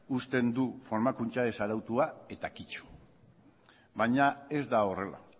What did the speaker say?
usten du formakuntza ez arautua eta kito baina ez da horrela